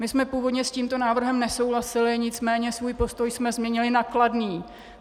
My jsme původně s tímto návrhem nesouhlasili, nicméně svůj postoj jsme změnili na kladný.